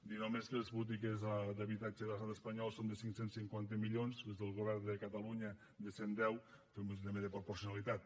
dir només que les polítiques d’habitatge a l’estat espanyol són de cinc cents i cinquanta milions les del govern de catalunya de cent i deu fem una mitjana per proporcionalitat